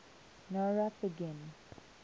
nowrap begin